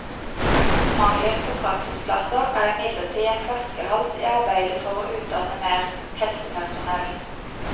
Mangelen på praksisplasser er imidlertid en flaskehals i arbeidet for å utdanne mer helsepersonell.